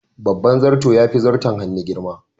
Babban zarto yafi zarton hannu girma.